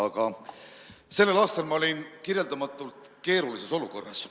Aga sellel aastal ma olin kirjeldamatult keerulises olukorras.